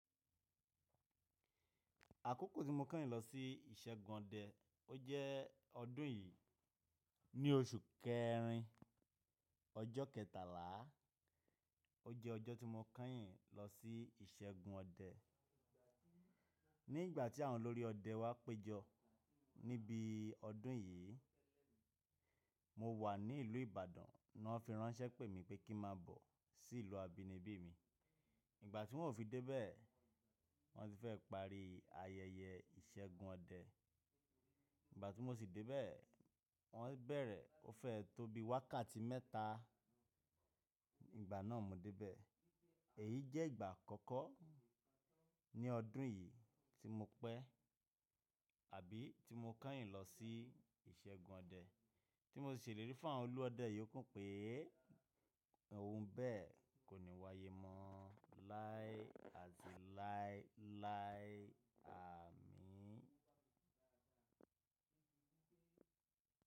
Àkókò tí mo kányìn lọ sí ìṣẹ́gun ọdẹ, ó jẹ́ ọdún yìí. Ni oṣù kẹrin, ọjọ́ kẹtàlá, ó jẹ́ ọjọ́ tí mo kányìn lọ sí ìṣẹ́gun ọdẹ. Ni ìgbà tí àwọn olórí ọdẹ wá péjọ níbi ọdún yìí, mo wà ní ìlú Ìbàdàn ná wọ́n fi ránṣẹ́ pè mi pé kí má bọ̀ sí ìlú abínibí mi. Ìgbà tí wọ́n ò fi dé bẹ́ẹ̀, wọ́n ti fẹ́ parí ayẹyẹ ìṣẹ́gun ọdẹ. Ìgbà tí mo sì dé bẹ́ẹ̀, wọ́n bẹ̀rẹ̀ ó fẹ́ tóbi wákàtí mẹ́ta. Ìgbà náà mo dé bẹ́ẹ̀. Èyí jẹ́ ìgbà àkọ́kọ́ ní ọdún yìí tí mo pẹ́ àbí tí mo kányìn lọ sí ìṣẹ́gun ọdẹ. Tí mo sì ṣèlérí fún àwọn olú ọdẹ yóò kún pé ohun bẹ́ẹ̀ kò ní wáyé mọ́ láé àti láé láé àmín.